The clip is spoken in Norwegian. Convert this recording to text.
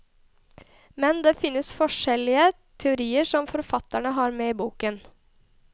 Men det finnes forskjellige teorier, som forfatteren har med i boken.